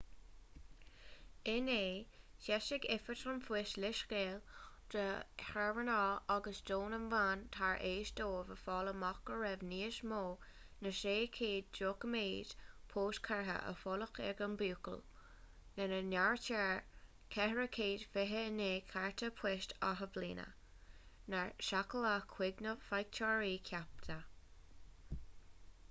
inné d'eisigh oifig an phoist leithscéal do shaoránaigh agus do na meáin tar éis dóibh a fháil amach go raibh níos mó ná 600 doiciméad poist curtha i bhfolach ag an mbuachaill lena n-áirítear 429 cárta poist athbhliana nár seachadadh chuig na faighteoirí ceaptha